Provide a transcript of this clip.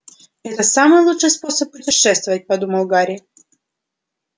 это самый лучший способ путешествовать подумал гарри